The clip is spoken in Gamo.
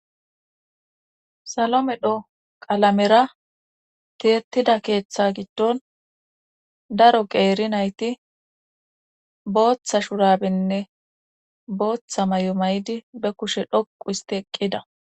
salomedho qalamera tietida keeththa giddon daro qeeri nayti booththa shurabenne booththa may7o may7di be kushe dhoqu isti eqqida